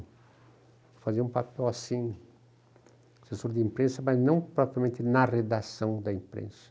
Eu fazia um papel assim, de assessor de imprensa, mas não propriamente na redação da imprensa.